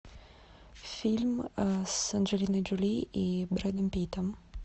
фильм с анджелиной джоли и брэдом питтом